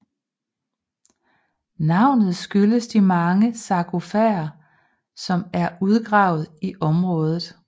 Navnet skyldes de mange sargofager som er udgravet i området